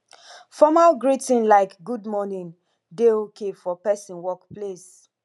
formal greeting like good morning dey okay for person work place